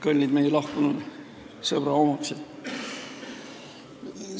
Kallid meie lahkunud sõbra omaksed!